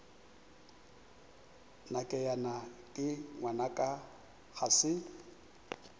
nakeyena ke ngwanaka ga se